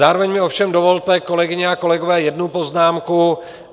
Zároveň mi ovšem dovolte, kolegyně a kolegové, jednu poznámku.